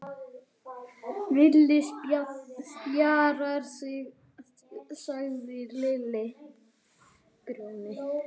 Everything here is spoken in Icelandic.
Villi spjarar sig, sagði Lilli.